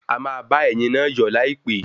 A maá ba ẹ̀yin na yọ̀ láìpé